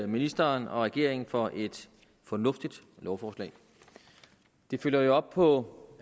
ministeren og regeringen for et fornuftigt lovforslag det følger jo op på